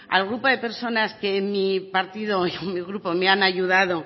al grupo de personas que en mi partido y en mi grupo me han ayudado